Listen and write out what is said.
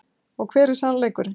Og hver er sannleikurinn.